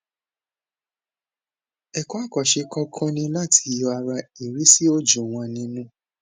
ẹkọ àkànṣe kọkọ ni láti yọ ara ìríṣì òjò wọn nínú